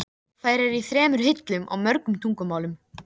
Valdimar virti hana fyrir sér, brúnaþungur og skilnings